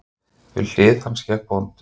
Við hlið hans gekk bóndinn.